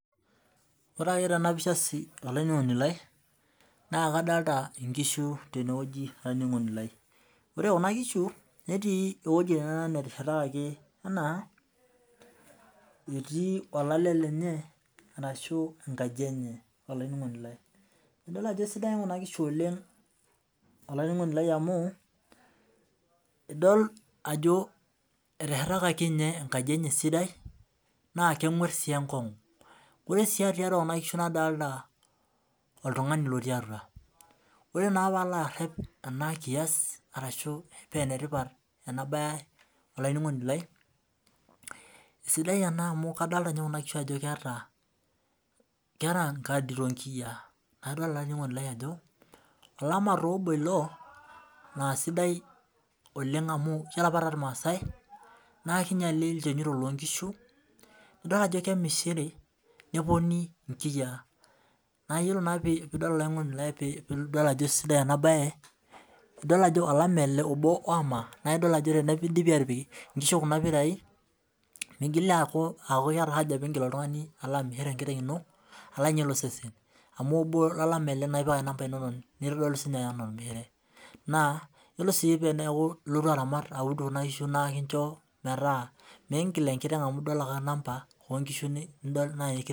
Ore ake tenapisha olaininingoni lai na kadolita nkishu tenewueji olaininingoni lai ore kuna kishu netii ewoi nateshetakaki enaa etii olale lenye ashu enkaji enye idol ajo esidai kuna kishu amu eteshetakaki ninche enkaji enye sidai naa kengues si enkongu nadolita oltungani lotii atua ore naa palo arep enakias paa enetipat olaininingoni lai na sidai amu adolita kuna kishu ajo eeta enkadi tonkiyia nadolita olama amu ore apa tormasaai na idol ajo kemishiri neponi nkiyia neaku ore ake pidol olaininingoni lai pidol ajo sidai enabae na idiol ajo teneidipi atipik nkishu kuna lamai migili aaku keeta aja pilo oltungani amir enkiteng ino ainyel osesen nitodolu aanaa ormishire yiolo si pilotu aramat kuna kishu inonok aud na ekinchoo metaamingil enkiteng amu idol ake namba